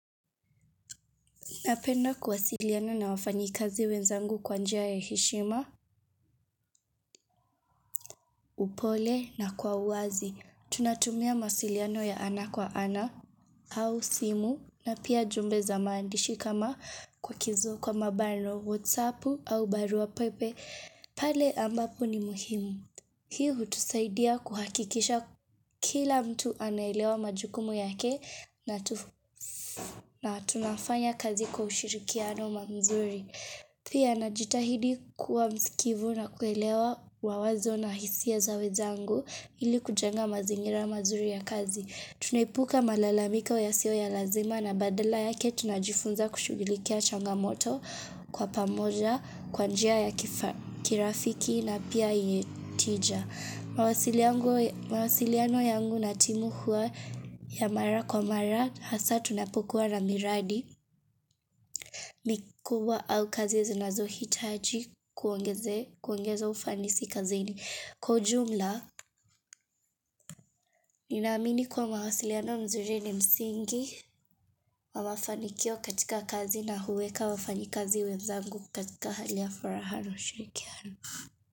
Napenda kuwasiliana na wafanyikazi wenzangu kwa njia ya heshima, upole na kwa uwazi. Tunatumia mawasiliano ya ana kwa ana au simu na pia ujumbe za maandishi kama kwa mabano whatsappu au barua pepe. Pale ambapo ni muhimu. Hii hutusaidia kuhakikisha kila mtu anaelewa majukumu yake na tunafanya kazi kwa ushirikiano mzuri. Pia najitahidi kuwa msikivu na kuelewa mawazo na hisia za wenzangu ili kujenga mazingira mazuri ya kazi. Tunaipuka malalamiko yasio ya lazima na badala yake tunajifunza kushughulikia changamoto kwa pamoja kwa njia ya kirafiki na pia yetija. Mawasiliano yangu na timu huwa ya mara kwa mara hasa tunapokuwa na miradi mikubwa au kazi ya zinazohitaji kuongeza ufanisi kazini Kwa ujumla, ninaamini kuwa mawasiliano mzuri ni msingi wa mafanikio katika kazi na huweka wafanyikazi wenzangu katika hali ya furaha na ushirikiano.